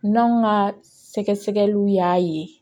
N'anw ka sɛgɛsɛgɛliw y'a ye